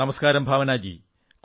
നമസ്കാരം ഭാവനാജീ